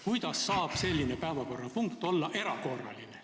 Kuidas saab selline päevakorrapunkt olla erakorraline?